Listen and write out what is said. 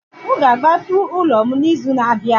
M ga-agbapụ ụlọ m n'izu na-abịa